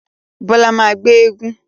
Bọlá máa ń gbé éégún